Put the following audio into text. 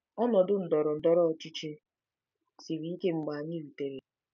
Ọnọdụ ndọrọ ndọrọ ọchịchị siri ike mgbe anyị rutere.